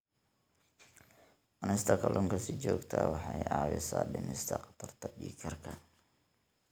Cunista kalluunka si joogto ah waxay caawisaa dhimista khatarta dhiig karka.